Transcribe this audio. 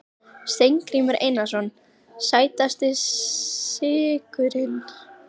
Steingrímur Eiðsson Sætasti sigurinn?